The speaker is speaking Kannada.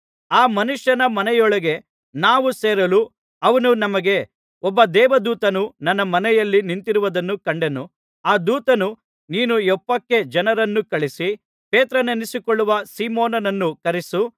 ಆ ಮನುಷ್ಯನ ಮನೆಯೊಳಗೆ ನಾವು ಸೇರಲು ಅವನು ನಮಗೆ ಒಬ್ಬ ದೇವದೂತನು ನನ್ನ ಮನೆಯಲ್ಲಿ ನಿಂತಿರುವುದನ್ನು ಕಂಡೆನು ಆ ದೂತನು ನೀನು ಯೊಪ್ಪಕ್ಕೆ ಜನರನ್ನು ಕಳುಹಿಸಿ ಪೇತ್ರನೆನಿಸಿಕೊಳ್ಳುವ ಸೀಮೋನನನ್ನು ಕರೆಯಿಸು